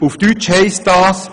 Auf Deutsch heisst dies: